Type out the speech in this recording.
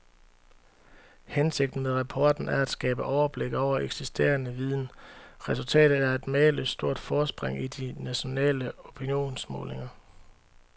Hensigten med rapporten er at skabe overblik over eksisterende viden. Resultatet er et mageløst stort forspring i de nationale opinionsmålinger.